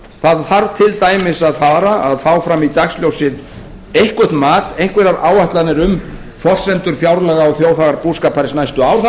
það þarf til dæmis að fá fram í dagsljósið eitthvert mat einhverjar áætlanir um forsendur fjárlaga og þjóðarbúskaparins næstu ár það er